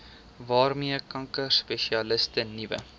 waarmee kankerspesialiste nuwe